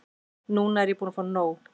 Núna er ég búin að fá nóg.